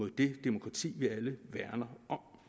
det demokrati vi alle værner om